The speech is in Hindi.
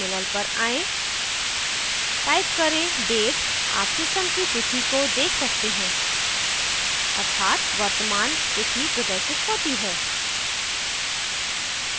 terminal पर आएँ type करें date आप system की तिथि को देख सकते हैं अर्थात वर्तमान तिथि प्रदर्शित होती है